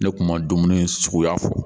Ne tun ma dumuni in suguya fɔ.